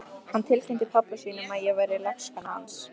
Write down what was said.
Hann tilkynnti pabba sínum að ég væri lagskona hans!